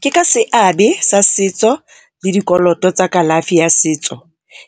Ke ka seabe sa setso le dikoloto tsa kalafi ya setso